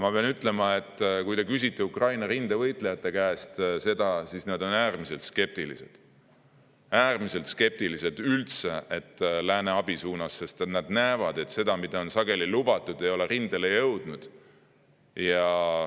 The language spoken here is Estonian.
Ma pean ütlema, et kui te küsite seda Ukraina rindevõitlejate käest, siis nad on äärmiselt skeptilised ega looda, et läänest võiks üldse mingit abi tulla, sest nad näevad, et sageli ei ole see, mida on lubatud, üldse rindele jõudnud.